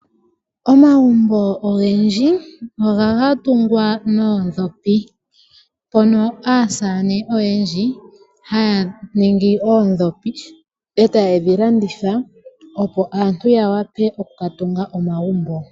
Omagumbo ogendji ohaga tungwa noondhopi, mono aasamane oyendji haya ningi oodhopi e taye dhi landitha, opo aantu ya wape oku ka tunga omagumbo.